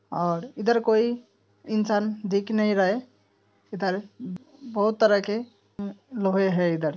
और इधर कोई इंसान दिख नहीं रहा है| इधर बहुत तरह के अ-लोहे है इधर |